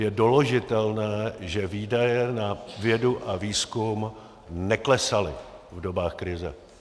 Je doložitelné, že výdaje na vědu a výzkum neklesaly v dobách krize.